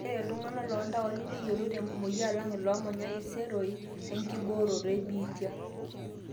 ore itung'anak loontaoni neyiolo tenkumoi alang iloomanya iseroi enkibooroto ebiitia